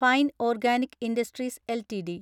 fine organic industries LTD